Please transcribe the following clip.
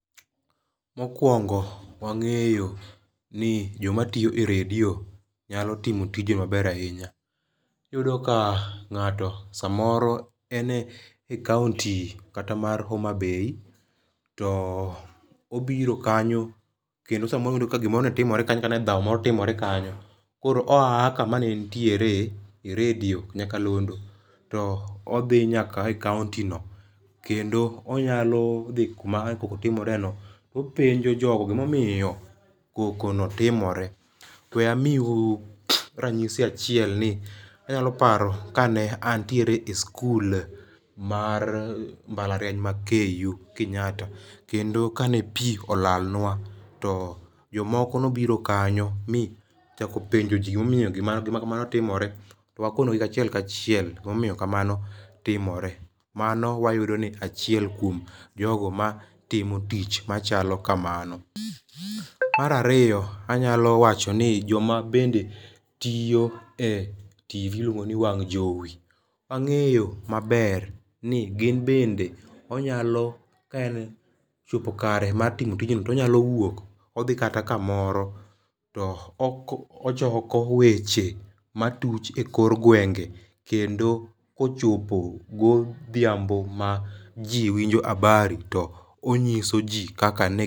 Mokwongo wangéyo ni joma tiyo e redio nyalo timo tije maber ahinya. Iyudo ka ngáto samoro en e County kata mar Homabay, to obiro kanyo, kendo sa moro iyudo kata ka gimoro ne timore kanyo, kata ne dhao moro timore kanyo. Koro oya kama ne entiere, e redio nyakalondo, to odhi nyaka e county no. Kendo onyalo dhi kuma ne koko timore no, to openjo jogo gima omiyo koko no timore. We amiu ranyisi achiel ni, anyalo paro kane antiere e sikul mar mbalariany ma KU, Kenyatta. Kendo kane pi olalnwa, to jomoko ne obiro kanyo, mi ochako penjo ji gima omiyo gima kamano timore. To wakono gi kachiel kachiel, gima omiyo kamano timore. Mano wayudo ni achiel kuom jogo ma timo tich machalo kamano. Mar ariyo, anyalo wacho ni joma bende tiyo e TV iluongoni wang' jowi, wangéyo maber ni gin bende, onyalo ka en, ochopo kare mar timo tijno, onyalo wuok, odhi kata kamoro, to ochoko weche matuch e kor gwenge, kendo kochopo godhiambo ma ji winjo habari to onyiso ji kaka ne.